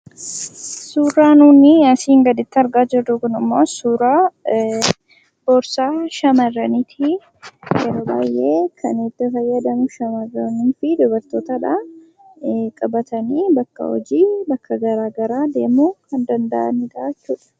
Suuraan nuti asiin gaditti argaa jirrummoo suuraa boorsaa shamarraniiti. Yeroo baay'ee kan itti fayyadamu shammarranii fi dubartootadha. Qabatanii bakka bashannanaa fi hojii deemuu kan danda'anidha jechuudha.